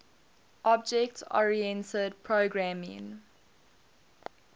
object oriented programming